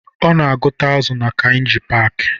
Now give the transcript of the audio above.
Ọ na-agụta azụ na Kainji paaki